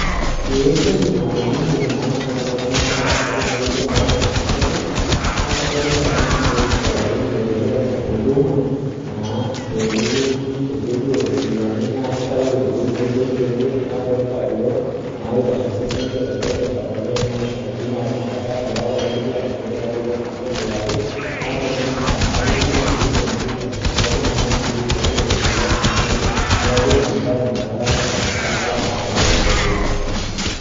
ore entoki naloito dukuya naa iltunganak ooshito olaini aingoru huduma adolita lodipaki aishoo nadoolta leton engor penyo ,kitayu sii ena e mbenki neeku kajo nanu ina baye ena naloito dukuya tene amuu kelioo ninye ajo ketii mpaka incompitani